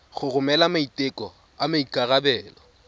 go romela maiteko a maikarebelo